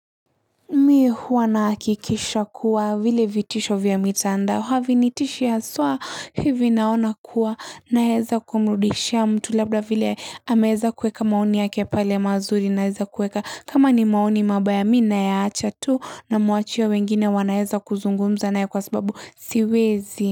Mi huwanahakikisha kuwa vile vitisho vya mitandao havinitishi haswa hivi naona kuwa naeza kumrudishia mtu labda vile hameza kueka maoni yake pale mazuri naeza kueka kama ni maoni mabaya mina yaacha tu na mwachia ya wengine wanaeza kuzungumza nae kwa sababu siwezi.